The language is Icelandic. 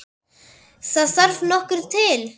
Það þarf nokkuð til!